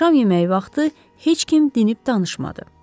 Şam yeməyi vaxtı heç kim dinib danışmadı.